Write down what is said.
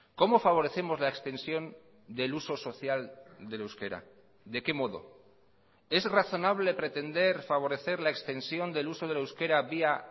cómo favorecemos la extensión del uso social del euskera de qué modo es razonable pretender favorecer la extensión del uso del euskera vía